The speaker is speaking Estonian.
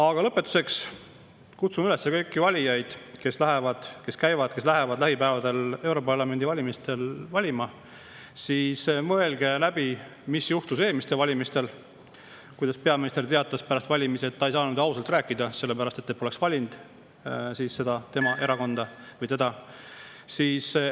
Aga lõpetuseks kutsun üles kõiki valijaid, kes lähevad lähipäevadel europarlamendi valimistel valima: mõelge läbi, mis juhtus eelmistel valimistel, kuidas peaminister teatas pärast valimisi, et ta ei saanud ausalt rääkida, sellepärast et siis poleks tema erakonda või teda valitud.